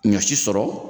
Ɲɔsi sɔrɔ